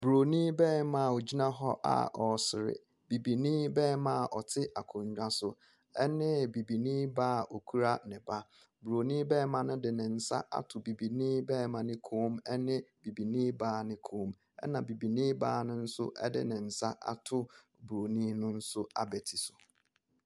Bronin barima a ogyina hɔ ɛresere, bibini barima a ɔte akonnwa so ne bibini baa a okura ne ba. Bronin barima no de ne nsa ato bibini barima ne kɔn mu ne bibini baa ne kɔn, na bibini baa ne nso de ne nsa ato bronin no no abati so.